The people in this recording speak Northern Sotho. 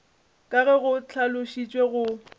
ka ge go hlalošitšwe go